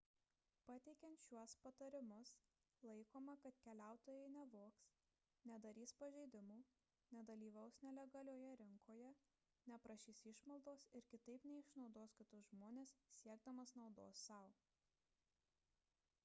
pateikiant šiuos patarimus laikoma kad keliautojai nevogs nedarys pažeidimų nedalyvaus nelegalioje rinkoje neprašys išmaldos ir kitaip neišnaudos kitus žmones siekdami naudos sau